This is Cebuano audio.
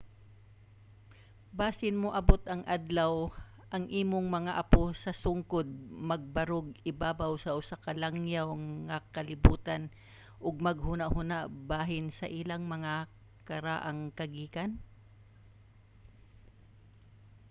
basin moabot ang adlaw ang imong mga apo sa sungkod magbarog ibabaw sa usa ka langyaw nga kalibutan ug maghunahuna bahin sa ilang mga karaang kagikan?